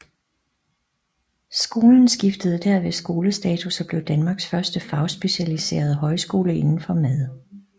Skolen skiftede derved skolestatus og blev Danmarks første fagspecialiserede højskole indenfor mad